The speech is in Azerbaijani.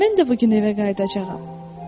“Mən də bu gün evə qayıdacağam.”